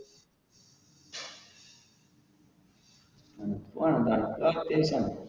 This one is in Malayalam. തണുപ്പ് വേണം.